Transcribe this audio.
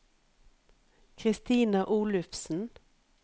Kristina Olufsen